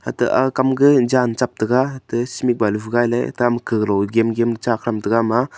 ata aga kam ke jan chak taga ate cement bali phai nai ley tam ka ga lo gem gem chak tham taga ama.